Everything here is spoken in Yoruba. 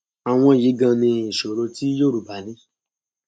àwọn yìí ganan ni ìṣòro tí yorùbá ní